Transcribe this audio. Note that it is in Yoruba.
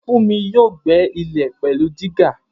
Funmi yóò gbẹ́ ilẹ̀ pẹ̀lú dígà